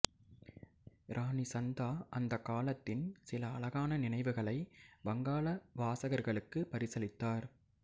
இராணி சந்தா அந்த காலத்தின் சில அழகான நினைவுகளை வங்காள வாசகர்களுக்கு பரிசளித்தார்